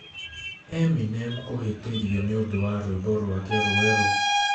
Eminem kũhĩtĩrio nĩ ũndũ wa rwĩmbo rwake rwerũEminem kũhĩtĩrio nĩ ũndũ wa rwĩmbo rwake rwerũ